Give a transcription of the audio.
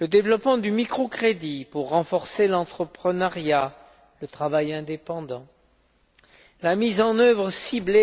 le développement du microcrédit pour renforcer l'entreprenariat, le travail indépendant, la mise en œuvre ciblée